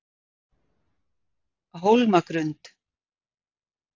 Hólmagrund